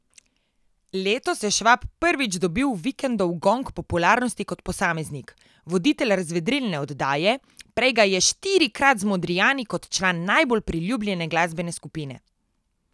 Letos je Švab prvič dobil Vikendov gong popularnosti kot posameznik, voditelj razvedrilne oddaje, prej ga je štirikrat z Modrijani, kot član najbolj priljubljene glasbene skupine.